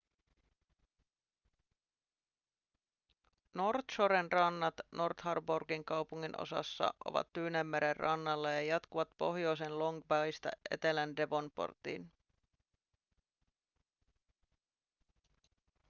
north shoren rannat north harbourin kaupunginosassa ovat tyynenmeren rannalla ja jatkuvat pohjoisen long baysta etelän devonportiin